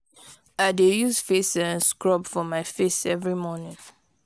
i dey use face um scrub for my face every morning.